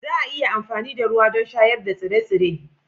Za a iya amfani da ruwa don shayar da tsire-tsire